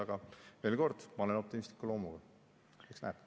Aga veel kord, ma olen optimistliku loomuga, eks näeb.